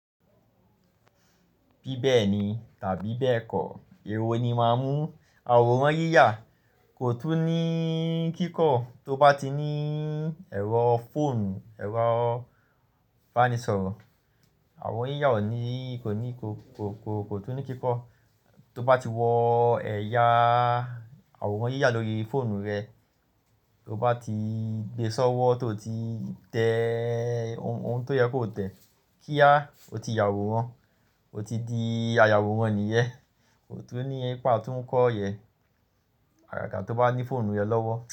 Bí bẹ́ẹ̀ni tàbí bẹ́ẹ̀kọ́, ewọ ni máa mú. Àwòrán yíyà kò tún ní kíkọ́ tó bá tí níí ẹ̀rọ fóònù, ẹ̀rọ bánisọ̀rọ̀. Àwò yíyà ò ní, kò ní, kò, kò, kò tún ní kíkọ́. Tó bá ti wọ́ ẹ̀yà àwòrán yíyà lórí fóònù rẹ, tó bá ti gbe sọ́wọ́ tó ti tẹẹ ohùn tó yẹ kọ tẹ kíá o ti ya àwòrán, o ti di ayàwòrán nìyẹn, kò tún ní pé a tun kọ yen, àgàgà tó bá ní fóònù yẹn lọ́wọ́